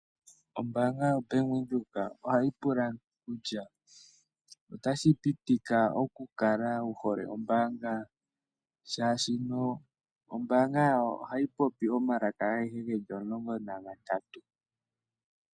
Ombaanga yoBank Windhoek ohayi pula kutya otashi pitika okukala wu hole ombaanga, oshoka ombaanga yawo ohayi popi omalaka agehe ge li omulongo nagatatu.